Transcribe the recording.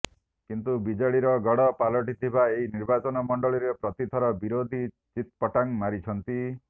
କିନ୍ତୁ ବିଜେଡିର ଗଡ଼ ପାଲଟିଥିବା ଏହି ନିର୍ବାଚନ ମଣ୍ଡଳୀରେ ପ୍ରତିଥର ବିରୋଧୀ ଚିତପଟାଙ୍ଗ ମାରିଛନ୍ତି